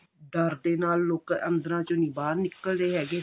ਡਰ ਦੇ ਨਾਲ ਲੋਕ ਅੰਦਰਾਂ ਚੋਂ ਨੀ ਬਾਹਰ ਨੀ ਨਿਕਲ ਰਹੇ ਹੈਗੇ